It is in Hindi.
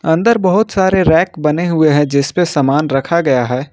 अंदर बहुत सारे रैक बने हुए हैं जिस पे सामान रखा गया है।